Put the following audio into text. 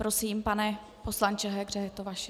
Prosím, pane poslanče Hegře, je to vaše.